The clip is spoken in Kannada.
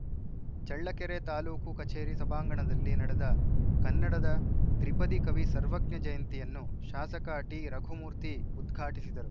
ಚೆಳ್ಳಕೆರೆ ತಾಲೂಕು ಕಚೇರಿ ಸಭಾಂಗಣದಲ್ಲಿ ನಡೆದ ಕನ್ನಡದ ತ್ರಿಪದಿ ಕವಿ ಸರ್ವಜ್ಞ ಜಯಂತಿಯನ್ನು ಶಾಸಕ ಟಿರಘುಮೂರ್ತಿ ಉದ್ಘಾಟಿಸಿದರು